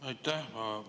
Aitäh!